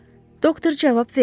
Doktor cavab vermədi.